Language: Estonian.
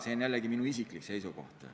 See on jälle minu isiklik seisukoht.